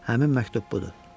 Həmin məktub budur.